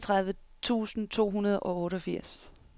niogtredive tusind to hundrede og otteogfirs